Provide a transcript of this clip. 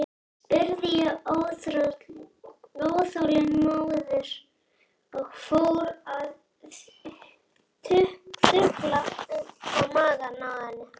spurði ég óþolinmóður og fór að þukla magann á henni.